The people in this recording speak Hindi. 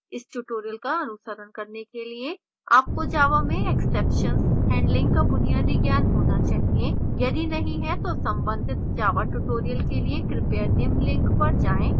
इस tutorial का अनुकरण करने के लिए आपको java में exceptions handling का बुनियादी ज्ञान होना चाहिए यदि नहीं है तो संबंधित java tutorial के लिए कृपया निम्न link पर जाएँ